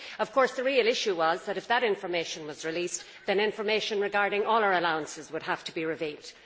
Of course, the real issue was that, if that information was released, then information regarding all our allowances would have to be revealed.